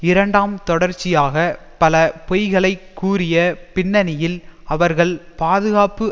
இரண்டாம் தொடர்ச்சியாக பல பொய்களைக் கூறிய பின்னணியில் அவர்கள் பாதுகாப்பு